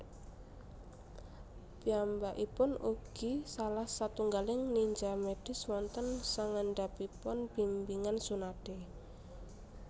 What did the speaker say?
Piyambakipun ugi salah satunggaling ninja medis wonten sangandhapipun bimbingan Tsunade